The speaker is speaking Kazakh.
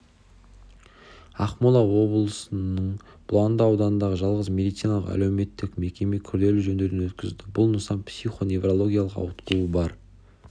ақмола облысының бұланды ауданындағы жалғыз медициналық әлеуметтік мекеме күрделі жөндеуден өткізілді бұл нысан психо-неврологиялық ауытқуы бар